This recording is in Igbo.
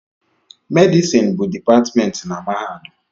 Medịsịn bụ dịpatmentị na mahadum